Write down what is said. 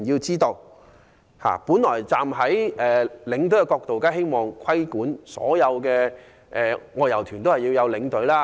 從領隊的角度看，當然希望規管所有外遊團安排領隊。